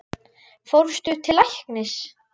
Fórstu til læknis?